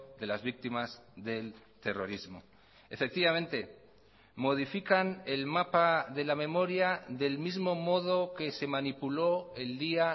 de las víctimas del terrorismo efectivamente modifican el mapa de la memoria del mismo modo que se manipuló el día